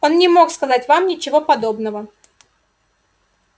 он не мог сказать вам ничего подобного